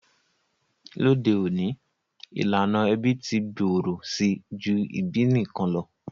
Lóde ọ̀ní, ìlànà ẹbí ti gbòrò si ju ìbí nikan lo.